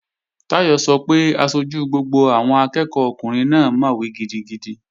Táyọ̀ sọ pé aṣojú gbogbo àwọn akẹ́ẹ̀kọ́ ọkùnrin náà mọ̀wé gidigidi